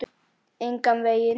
Engan veginn